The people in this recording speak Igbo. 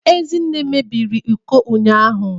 Ezinne mebiri iko ụnyahụ